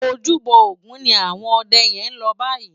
Ójúbò ógùn ni áwòn òdè yèn lò báyi